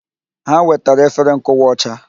Ha wetara efere nkụwa ọcha.